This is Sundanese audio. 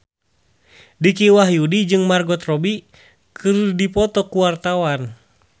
Dicky Wahyudi jeung Margot Robbie keur dipoto ku wartawan